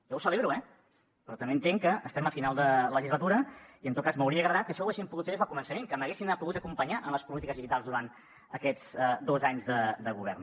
jo ho celebro eh però també entenc que estem a final de legislatura i en tot cas m’hauria agradat que això ho haguéssim pogut fer des del començament que m’haguessin pogut acompanyar en les polítiques digitals durant aquests dos anys de govern